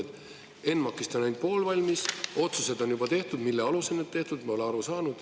ENMAK-ist on ainult pool valmis, otsused on juba tehtud, mille alusel need tehtud, pole aru saanud.